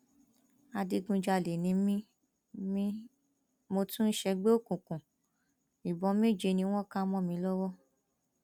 adigunjalè ni mí mí mo tún ń ṣègbè òkùnkùn ìbọn méje ni wọn ká mọ mi lọwọ